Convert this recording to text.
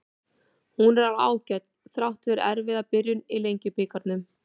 Hún er alveg ágæt, þrátt fyrir erfiða byrjun í Lengjubikarnum.